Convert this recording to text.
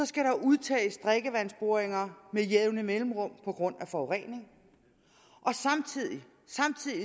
skal der udtages drikkevandsboringer med jævne mellemrum på grund af forurening og samtidig